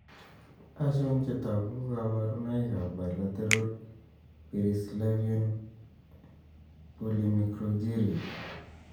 Achon chetogu ak kaborunoik ab bileteral perissylvanian polymicrogyria